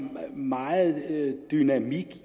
meget dynamik